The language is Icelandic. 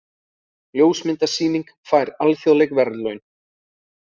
Ljósmyndasýning fær alþjóðleg verðlaun